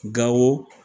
Gawo